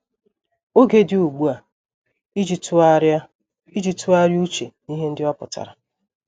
Oge dị ugbu a iji tụgharịa iji tụgharịa uche n’ihe ndị ọ pụtara.